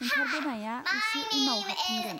ओंखारबोनाय आ उसे उनाव हाबफिनगोन.